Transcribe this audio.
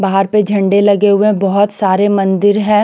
बहार पे झंडे लगे गये बोहोत सारे मंदिर है।